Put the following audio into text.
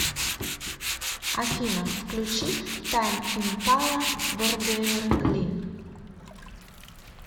афина включи тайм импала бордерлин